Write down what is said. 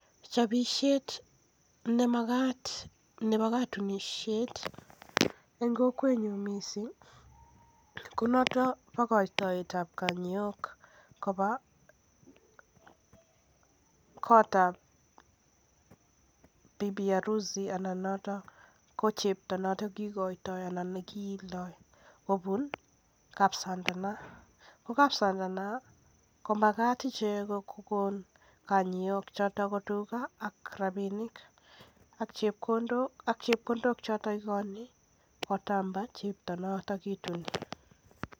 Chopisiet nemagat nebo katunisiet en kokwenyun missing ko notok nebo koitoet ab kanyook koba kotab bibi harusi kobu kapsandano, ko kapsandano komagat ichek kokon kanyook choton ko tuga ak rapinik choton ikoni kotab chepto noton kituni.